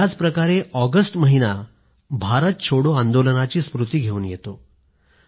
याचप्रकारे ऑगस्ट महिना भारत छोडो आंदोलनाची स्मृती घेऊन येतो